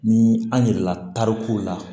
Ni an yirala tarikuw la